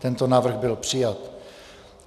Tento návrh byl přijat.